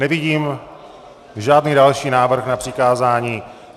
Nevidím žádný další návrh na přikázání.